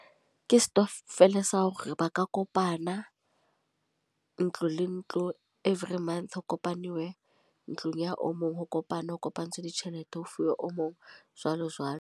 Ke stokvel sa hore ba ka kopana. Ntlo le ntlo, e every month ho kopanuwe ntlong ya o mong. Ho kopanwe, ho kopantshwe ditjhelete ho fuwa o mong, jwalo jwalo.